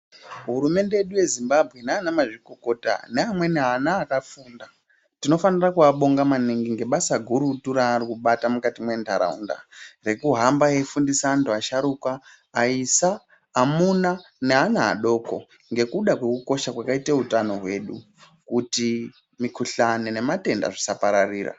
Hurumemde yedu yeZimbabwe nanamazvikokota namweni ana akafunda tinofanira kuabonga maningi nebasa gurutu raari kubata mukati mwentaraunda rekuhamba veifundisa antu asharuka, aisa, amuna neana adoko ngekuda kwekukosha kwakaite utano hwedu kuti mikuhlani nematenda zvisapararira.